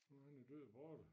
Nu han jo død og borte